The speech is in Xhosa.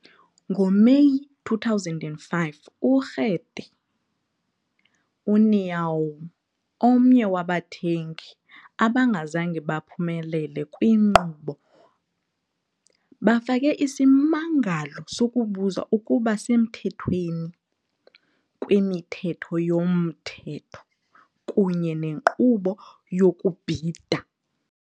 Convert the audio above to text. NgoMeyi 2005, uRede União, omnye wabathengi abangazange baphumelele kwinkqubo, bafake isimangalo sokubuza ukuba semthethweni kweMithetho yoMthetho kunye nenkqubo yokubhida.